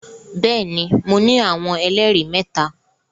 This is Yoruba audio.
Bẹẹni, Mo ni awọn ẹlẹri mẹta